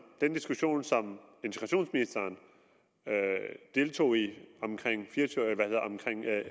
den diskussion som integrationsministeren deltog i omkring